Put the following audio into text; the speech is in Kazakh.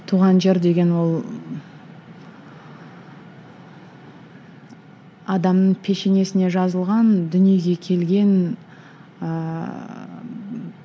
туған жер деген ол адамның пешенесіне жазылған дүниеге келген ыыы